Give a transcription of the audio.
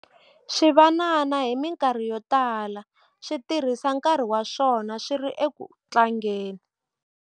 Swivanana hi mikarhi yo tala swi tirhisa nkarhi wa swona swi ri eku tlangeni.